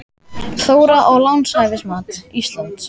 Þóra: Og lánshæfismat Íslands?